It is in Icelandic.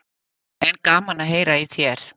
En gaman að heyra í þér.